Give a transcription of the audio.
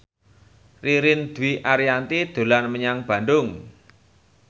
Ririn Dwi Ariyanti dolan menyang Bandung